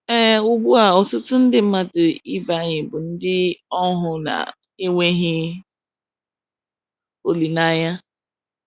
Ee, ugbu a, ọtụtụ nde mmadụ ibe anyị bụ ndị ohu na - enweghị olileanya.